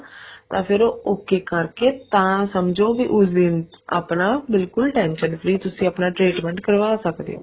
ਤਾਂ ਫ਼ੇਰ ਉਹ okay ਕਰਕੇ ਤਾਂ ਸਮਝੋ ਵੀ ਉਸ ਦਿਨ ਆਪਣਾ ਬਿਲਕੁਲ tension free ਤੁਸੀਂ ਆਪਣਾ treatment ਕਰਵਾ ਸਕਦੇ ਹੋ